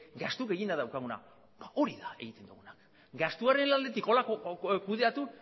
gastu gehiena daukaguna da ba hori da egiten duguna gastuaren aldetik horrela kudeatu